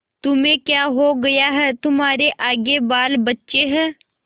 तुम्हें क्या हो गया है तुम्हारे आगे बालबच्चे हैं